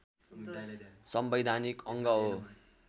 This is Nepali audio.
संवैधानिक अङ्ग हो